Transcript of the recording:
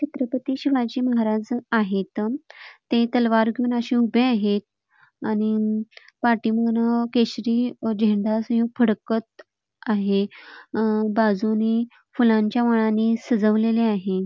हे छत्रपती शिवाजी महाराज आहेत. ते तलवार घेऊन अशे उभे आहेत आणि अम पाठीमागंन केशरी अ झेंडा असे फडकत आहे अ बाजुंनी फुलांच्या माळांनी सजवलेले आहे.